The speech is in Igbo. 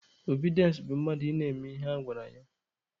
Obidiense bụ mmadụ ị na-eme ihe a gwara ya.